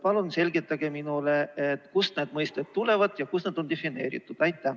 Palun selgitage minule, kust need mõisted tulevad ja kus need on defineeritud!